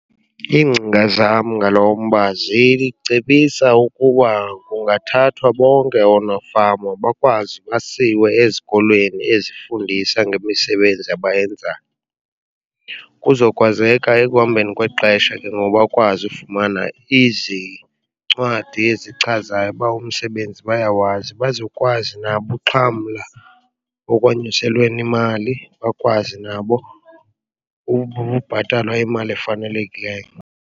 Iingcinga zam ngalo mba zicebisa ukuba kungathathwa bonke oonofama bakwazi basiwe ezikolweni ezifundisa ngemisebenzi abanyenzayo. Kuzokwazeka ekuhambeni kwexesha ke ngoku bakwazi ufumana izincwadi ezichazayo uba umsebenzi bayawazi, bazokwazi nabo uxhamla okwanyuselweni imali bakwazi nabo bhatalwa imali efanelekileyo.